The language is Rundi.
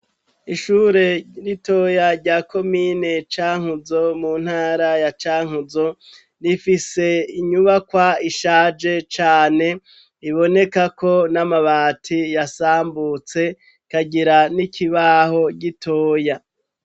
Ishure ritoya rya Komine Cankuzo mu ntara ya Cankuzo, rifise inyubakwa ishaje cane iboneka ko n'amabati yasambutse ikagira n'ikibaho gitoya.